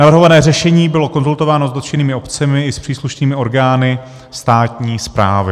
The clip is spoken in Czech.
Navrhované řešení bylo konzultováno s dotčenými obcemi i s příslušnými orgány státní správy.